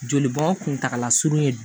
Jolibɔ kuntagala surunnen don